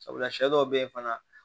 Sabula sɛ dɔw be yen fana